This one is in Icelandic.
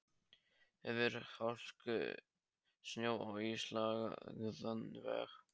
Yfir hálku, snjó og ísilagðan veg.